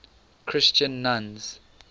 christian nuns